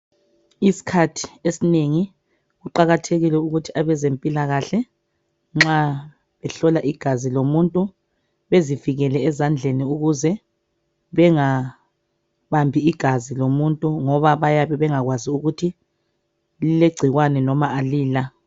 Isikhathi esinengi kuqakathekile ukuthi abezempilakahle nxa behlola igazi lomuntu bezivikele ezandleni ukuze bengabambi igazi lomuntu ngoba bayabe bayabe bengakwazi ukuthi lilegcikwane noma alila.